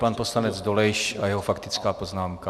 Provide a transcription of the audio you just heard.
Pan poslanec Dolejš a jeho faktická poznámka.